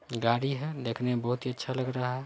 गाड़ी है देखने में बहुत ही अच्छा लग रहा है।